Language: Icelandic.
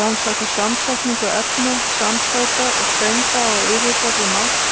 Rannsaka samsetningu efna, samsæta og steinda á yfirborði Mars